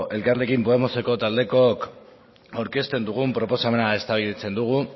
elkarrekin podemoseko taldekook aurkezten dugun proposamena eztabaidatzen dugu